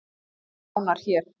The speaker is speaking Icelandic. Sjá nánar hér